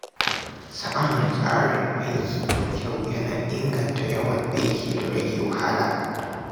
Samun tsarin aiki mai kyau yana inganta yawan aiki da rage wahala.